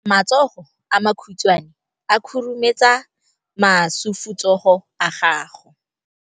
Matsogo a makhutshwane a khurumetsa masufutsogo a gago.